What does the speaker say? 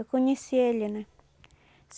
Eu conheci ele, né?